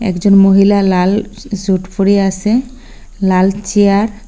একজন মহিলা লাল স্যুট পড়ে আছে লাল চেয়ার ।